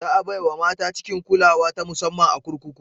Za a bai wa mata cikin kulawa ta musamman a kurkuku.